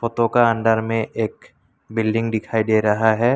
Photo का अंदर में एक बिल्डिंग दिखाई दे रहा है।